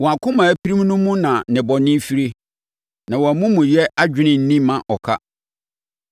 Wɔn akoma a apirim no mu na nnebɔne firie; na wɔn amumuyɛ adwene nni mma ɔka.